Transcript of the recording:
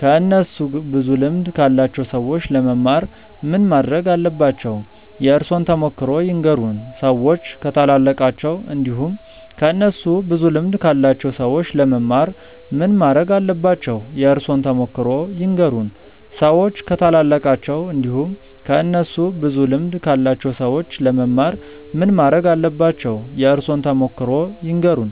ከእነሱ ብዙ ልምድ ካላቸው ሰዎች ለመማር ምን ማረግ አለባቸው? የእርሶን ተሞክሮ ይንገሩን? ሰዎች ከታላላቃቸው እንዲሁም ከእነሱ ብዙ ልምድ ካላቸው ሰዎች ለመማር ምን ማረግ አለባቸው? የእርሶን ተሞክሮ ይንገሩን? ሰዎች ከታላላቃቸው እንዲሁም ከእነሱ ብዙ ልምድ ካላቸው ሰዎች ለመማር ምን ማረግ አለባቸው? የእርሶን ተሞክሮ ይንገሩን?